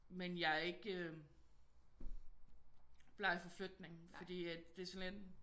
Men jeg er ikke bleg for flytning fordi at det er sådan lidt